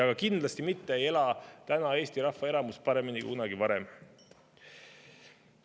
Aga kindlasti mitte ei ela Eesti rahva enamus täna paremini kui kunagi varem.